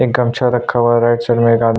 एक गमछा रखा हुआ है और राइट साइड में एक आदमी --